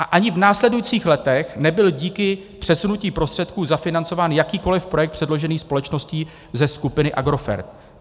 A ani v následujících letech nebyl díky přesunutí prostředků zafinancován jakýkoli projekt předložený společností ze skupiny Agrofert.